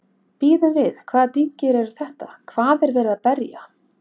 Bíðum við, hvaða dynkir eru þetta, hvað er verið að berja?